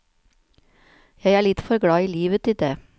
Jeg er litt for glad i livet til det.